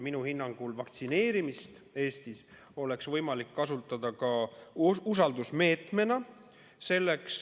Minu hinnangul oleks vaktsineerimist võimalik kasutada ka usaldusmeetmena.